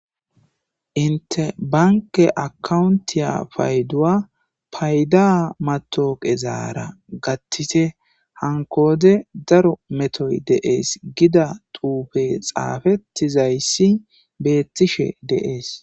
Inte banke akkaawuntiya payduwa payda matoqezara gattite hankko wode daro metoy de'es gida xuufey xaafetizayssi beettishe de'es.